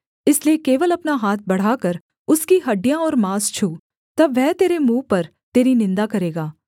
इसलिए केवल अपना हाथ बढ़ाकर उसकी हड्डियाँ और माँस छू तब वह तेरे मुँह पर तेरी निन्दा करेगा